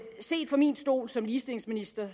set fra min stol som ligestillingsminister